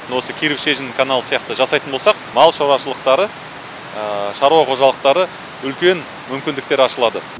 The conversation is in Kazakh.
осы киров шежін каналы сияқты жасайтын болсақ мал шаруашылықтары шаруа қожалықтары үлкен мүмкіндіктер ашылады